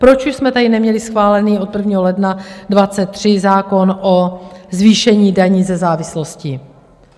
Proč už jsme tady neměli schválený od 1. ledna 2023 zákon o zvýšení daní ze závislosti?